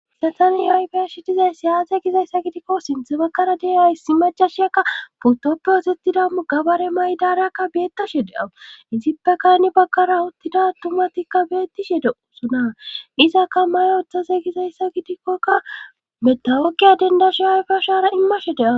Hayssantani yayfeyashi dizay siyaate gizayssa gidikko sinthe bakkara deaa hisi majashiyakka putoppe ozettida mugabare maydareyakka beettashe de7awu izippeka ni bakkara uttida tumatikka beettishede usuna izakka mayooththase gizayssa gidikkokka metawokkiya dendashi yayfiyeshara immashe de7a.